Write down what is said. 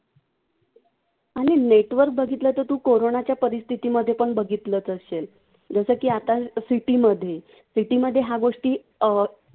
आणि network बघितलं तर तू कोरोनाच्या परिस्थितीमध्येपण बघितलंच असेल. जसं की आता city मध्ये city मध्ये या गोष्टी अं